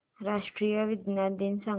राष्ट्रीय विज्ञान दिन सांगा